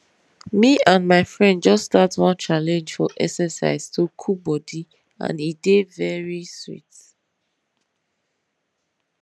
me and my friend just start one challenge for exercise to cool body and e dey very sweet